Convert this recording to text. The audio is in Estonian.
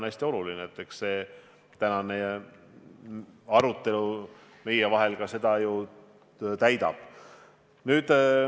Eks see tänane meievaheline arutelu seda ülesannet ju ka täidab.